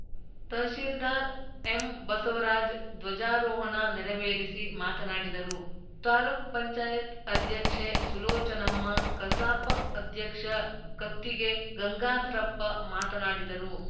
ತಹಸೀಲ್ದಾರ್‌ ಎಂಬಸವರಾಜ್‌ ಧ್ವಜಾರೋಹಣ ನೆರವೇರಿಸಿ ಮಾತನಾಡಿದರು ತಾಲುಕ್ ಪಂಚಾಯತ್ ಅಧ್ಯಕ್ಷೆ ಸುಲೋಚನಮ್ಮ ಕಸಾಪ ಅಧ್ಯಕ್ಷ ಕತ್ತಿಗೆ ಗಂಗಾಧರಪ್ಪ ಮಾತನಾಡಿದರು